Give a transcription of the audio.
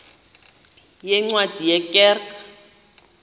yeencwadi ye kerk